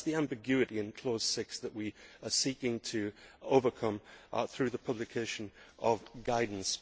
So that is the ambiguity in clause 6 that we are seeking to overcome through the publication of guidance.